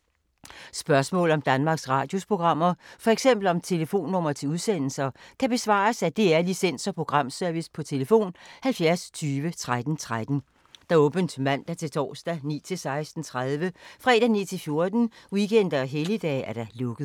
Spørgsmål om Danmarks Radios programmer, f.eks. om telefonnumre til udsendelser, kan besvares af DR Licens- og Programservice: tlf. 70 20 13 13, åbent mandag-torsdag 9.00-16.30, fredag 9.00-14.00, weekender og helligdage: lukket.